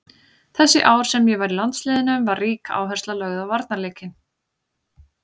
Þessi ár sem ég var í landsliðinu var rík áhersla lögð á varnarleikinn.